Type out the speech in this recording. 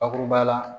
Bakuruba la